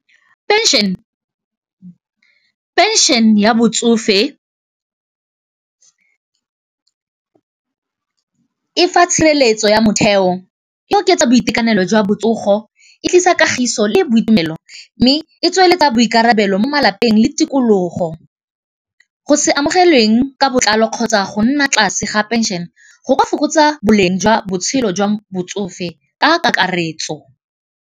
Pension ya botsofe e fa tshireletso ya motheo, e oketsa boitekanelo jwa botsogo, e tlisa kagiso le boitumelo mme e tsweletsa boikarabelo mo malapeng le tikologo, go se amogelweng ka botlalo kgotsa go nna tlase ga pension go ka fokotsa boleng jwa botshelo jwa botsofe ka kakaretso.